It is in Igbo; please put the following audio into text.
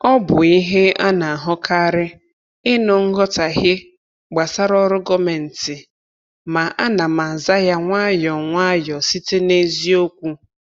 Ọ bụ ihe a na-ahụkarị ịnụ nghọtahie gbasara ọrụ gọọmentị, ma ana m aza ya nwayọ nwayọ site n’eziokwu.